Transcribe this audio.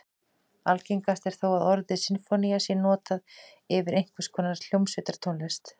Algengast er þó að orðið sinfónía sé notað yfir einhvers konar hljómsveitartónlist.